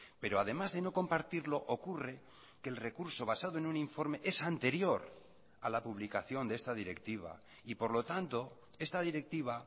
pero además de no compartirlo ocurre que el recurso basado en un informe es anterior a la publicación de esta directiva y por lo tanto esta directiva